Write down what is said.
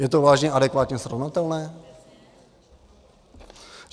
Je to vážně adekvátně srovnatelné?